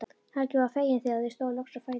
Helgi var feginn þegar þau stóðu loks á fætur.